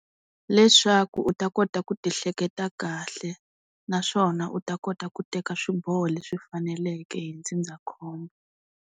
Leswaku u ta kota ku ti hleketa kahle, naswona u ta kota ku teka swiboho leswi faneleke hi ndzindzakhombo.